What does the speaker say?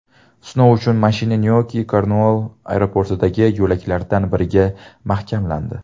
Sinov uchun mashina Nyuki-Kornuoll aeroportidagi yo‘laklardan biriga mahkamlandi.